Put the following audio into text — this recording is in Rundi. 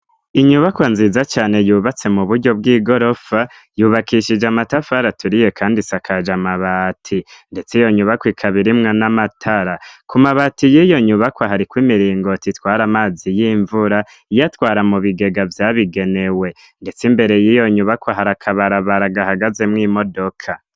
Inyubakwa nziza cane yubatswe mu buryo bw'igorofa ,yubakishije amatafari aturiye kandi isakaje amabati ndetse iyo nyubakwa ikaba irimwo n'amatara. Ku mabati y'iyo nyubakwa hariko imiringoti itwara amazi y'imvura iyatwara mu bigega byabigenewe ndetse imbere y'iyo nyubakwa hari akabarabara gahagazemwo imodoka.